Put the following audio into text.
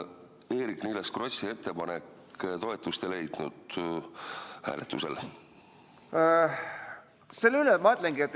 – Eerik-Niiles Krossi ettepanek hääletusel toetust ei leidnud.